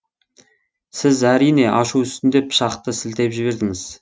сіз әрине ашу үстінде пышақты сілтеп жібердіңіз